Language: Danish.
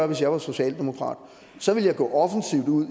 hvis jeg var socialdemokrat så ville jeg gå offensivt ud